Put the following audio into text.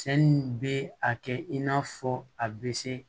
Sɛni bɛ a kɛ i n'a fɔ a bɛ se